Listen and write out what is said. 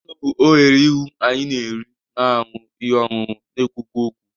Ọnụ bụ oghere ihu anyị na-eri, na-aṅụ ihe ọṅụṅụ, na-ekwukwa okwu.